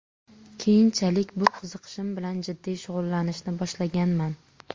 Keyinchalik bu qiziqishim bilan jiddiy shug‘ullanishni boshlaganman.